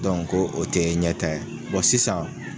ko o tɛ ɲɛtaa ye sisan.